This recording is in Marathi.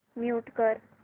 म्यूट कर